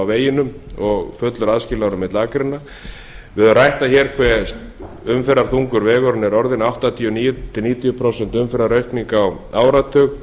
veginum og fullur aðskilnaður á milli akreina við höfum rætt það hér hve umferðarþungur vegurinn er orðinn áttatíu til níutíu prósent umferðaraukning á áratug